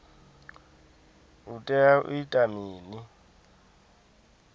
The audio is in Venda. u tea u ita mini